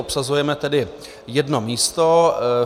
Obsazujeme tedy jedno místo.